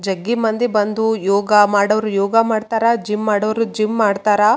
ಎಲ್ಲ ಯಲ್ಲ ಯೋಗ ಮ್ಯಾಟ್ ಅಐತು ಜಿಮ್ ಇಕ್ವಿಪ್ಮೆಂಟ್ಸ್ ಅಐತು.